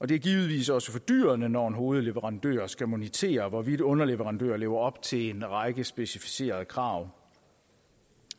det er givetvis også fordyrende når en hovedleverandør skal monitere hvorvidt underleverandører lever op til en række specificerede krav